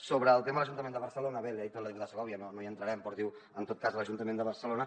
sobre el tema de l’ajuntament de barcelona bé l’hi ha dit la diputada segòvia no hi entrarem en tot cas l’ajuntament de barcelona